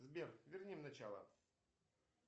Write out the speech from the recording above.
сбер верни в начало